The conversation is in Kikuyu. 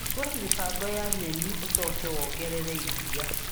Hingũra mĩbango ya nyeni ũcoke wongerere iria.